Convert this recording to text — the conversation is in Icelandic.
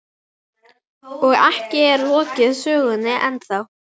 Og ekki er lokið sögunni ennþá.